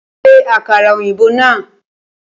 Ṣe àkàrà ọ̀yìnbó náà!